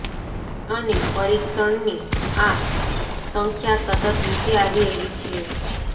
અને પરીક્ષણની આ સંખ્યા સતત નીચે આવી રહી છે